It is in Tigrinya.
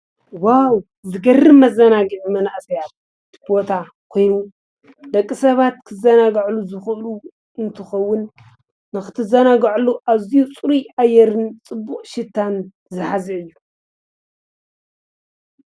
ዋዉ! ዝገርም መዘናግዒ መናእሰያት ቦታ ኮይኑ ደቂ ሰባት ክዘናግዕሉ ዝክእሉ አዝዪ ፅሩይ አየርን ፅቡቅ ሽታን ዝሐዘ እዪ::